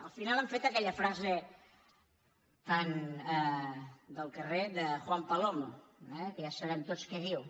al final han fet aquella frase tan del car·rer de juan palomo eh que ja sabem tots què diu